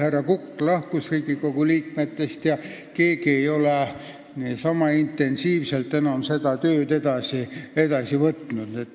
Härra Kukk lahkus Riigikogu liikmete seast ja keegi ei ole sama intensiivselt seda tööd edasi ajada võtnud.